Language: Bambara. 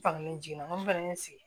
Fangelen jiginna mun fana ye n sigi